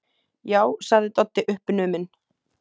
Já, sagði Doddi uppnuminn.